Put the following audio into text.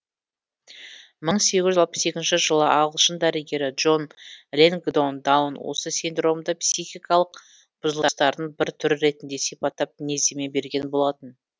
мың сегіз жүз алпыс екінші жылы ағылшын дәрігері джон лэнгдон даун осы синдромды психикалық бұзылыстардың бір түрі ретінде сипаттап мінездеме берген болатын